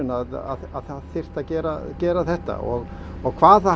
að það þyrfti að gera gera þetta og hvað